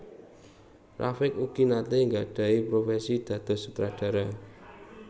Rafiq ugi naté nggadhahi profesi dados sutradara